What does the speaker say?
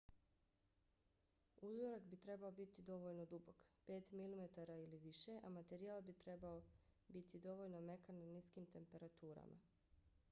uzorak bi trebao biti dovoljno dubok 5 mm ili više a materijal bi trebao biti dovoljno mekan na niskim temperaturama